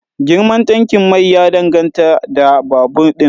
Girman tankin mai ya danganta da babur din